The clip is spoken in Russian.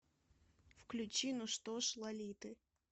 включи ну что ж лолиты